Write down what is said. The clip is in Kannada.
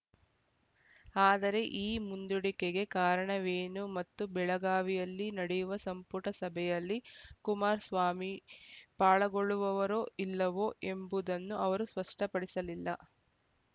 ಆದರೆ ಈ ಮುಂದೂಡಿಕೆಗೆ ಕಾರಣವೇನು ಮತ್ತು ಬೆಳಗಾವಿಯಲ್ಲಿ ನಡೆಯುವ ಸಂಪುಟ ಸಭೆಯಲ್ಲಿ ಕುಮಾರಸ್ವಾಮಿ ಪಾಲಗೊಳ್ಳುವವರೋ ಇಲ್ಲವೋ ಎಂಬುದನ್ನು ಅವರು ಸ್ಪಷ್ಟಪಡಿಸಲಿಲ್ಲ